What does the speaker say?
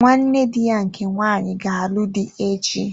Nwanne dị ya nke nwanyị ga-alụ dị echi.